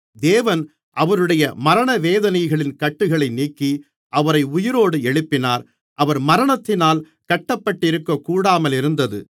தேவன் அவருடைய மரணவேதனைகளின் கட்டுகளை நீக்கி அவரை உயிரோடு எழுப்பினார் அவர் மரணத்தினால் கட்டப்பட்டிருக்கக்கூடாமலிருந்தது